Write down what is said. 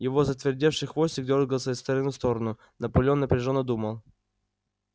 его затвердевший хвостик дёргался из стороны в сторону наполеон напряжённо думал